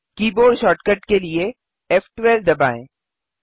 keyboard shortcut के लिए फ़12 दबाएँ